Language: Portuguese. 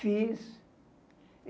Fiz.